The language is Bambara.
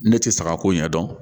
Ne tɛ saga ko ɲɛdɔn